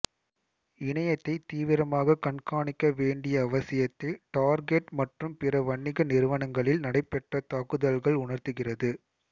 இணையத்தை தீவிரமாக கண்காணிக்க வேண்டிய அவசியத்தை டார்கெட் மற்றும் பிற வணிக நிறுவனங்களில் நடைபெற்ற தாக்குதல்கள் உணர்த்துகிறது